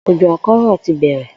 Òjò àkó̩rò̩ ti bè̩rè